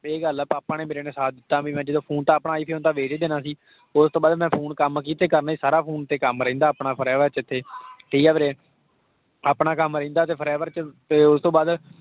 ਫਿਰ ਇਹ ਗੱਲ ਆ papa ਨੇ ਮੇਰੇ ਨੇ ਸਾਥ ਦਿੱਤਾ। ਮੈਂ ਜਦੋਂ phone ਤਾਂ ਆਪਣਾ iphone ਤਾਂ ਵੇਚ ਦੇਣਾ ਸੀ। ਓਸ ਤੋਂ ਬਾਅਦ ਮੈਂ phone ਕੱਮ ਕਿੱਤੇ ਕਰਨਾ ਸੀ। ਸਾਰਾ phone ਤੇ ਕੱਮ ਰਹਿੰਦਾ ਆਪਣਾ forever ਵਿਚ। ਠੀਕ ਹੈ ਵੀਰੇ। ਆਪਣਾ ਕੱਮ ਰਹਿੰਦਾ forever ਵਿੱਚ, ਤੇ ਉਸਤੋਂ ਬਾਅਦ,